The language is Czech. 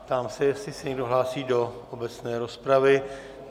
Ptám se, jestli se někdo hlásí do obecné rozpravy.